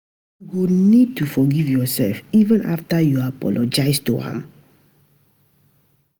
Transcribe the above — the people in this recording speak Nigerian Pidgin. You go need to forgive yoursef, even afta you apologize to am